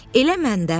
“Elə mən də.”